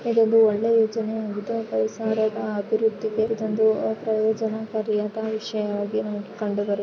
ಇದು ಒಳ್ಳೆ ಯೋಜನೆಯಾಗಿದೆ ಕೈಸಾರದ ಅಭಿವೃದ್ಧಿಗೆ ತಂದು ಪ್ರಯೊಜನಕಾರಿಯಾದ ವಿಷಯವಾಗಿ ಕಂಡುಬರುತ್ತದೆ .